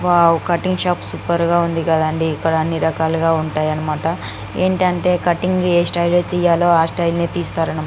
వొవ్వ cutting shop super గ వుంది ఇక్కడ అని రకాలుగా గ వుంటై అనమాట ఎందుకు అంటే కటింగ్ ని ఆ స్టైల్ జి తెయలూ ఆ స్టైల్ నే తెస్తారు అనమాట.